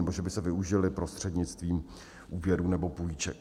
nebo že by se využily prostřednictvím úvěrů nebo půjček.